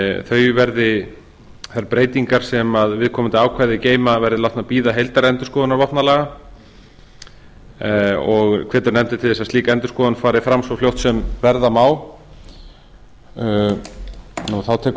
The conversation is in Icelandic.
þau verði þær breytingar sem viðkomandi ákvæði geyma verði látnar bíða heildarendurskoðunar vopnalaga og hvetur nefndin til þess að slík endurskoðun fari fram svo fljótt sem verða má þá tekur